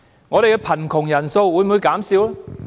本港的貧窮人數會否減少？